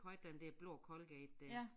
Haft den der blå Colgate dér